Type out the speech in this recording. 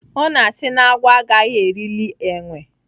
Ọ na-asị na-agwọ agaghị erili enwe.